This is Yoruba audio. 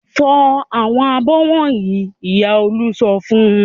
"Fọ àwọn abọ́ wọ̀nyí!" Ìyá Olú sọ fún un.